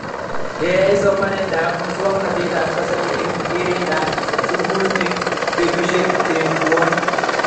Keyai somanet ab muswog'natet ab kasari eng' keret ab sukul eng' petushek che puoni